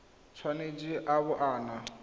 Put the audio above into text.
tshwanetse a bo a na